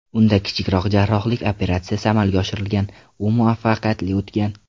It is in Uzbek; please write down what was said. Unda kichikroq jarrohlik operatsiyasi amalga oshirilgan, u muvaffaqiyatli o‘tgan.